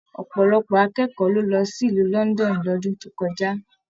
Ọpọlọpọ akẹkọọ lo lọ sílù London l'ọdun to kọjá.